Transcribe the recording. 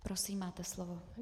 Prosím, máte slovo.